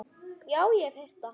Já, ég hef heyrt það.